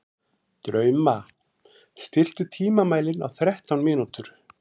Drauma, stilltu tímamælinn á þrettán mínútur.